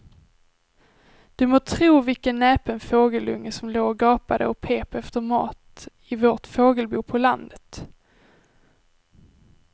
Du må tro vilken näpen fågelunge som låg och gapade och pep efter mat i vårt fågelbo på landet.